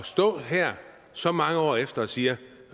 stå her så mange år efter og sige